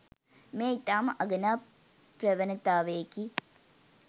මෙය ඉතා ම අගනා ප්‍රවණතාවයකි.